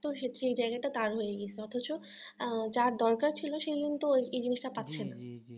তো সেক্ষেত্রে এই জায়গাটা তার হয়ে গেছে অথচ আহ যার দরকার ছিল সে কিন্তু এই জিনিসটা পাচ্ছে না